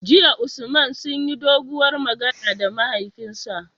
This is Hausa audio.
JIya Usman sunyi doguwar magana da mahaifinsa